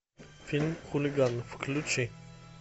фильм хулиганы включи